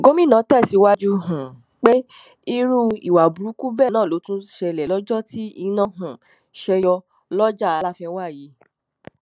gomina tẹsíwájú um pé irú ìwà burúkú bẹẹ náà ló tún ṣẹlẹ lọjọ tí iná um ṣe yọ lọjà láfẹnwá yìí